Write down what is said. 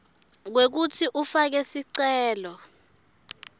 kwekutsi ufake sicelo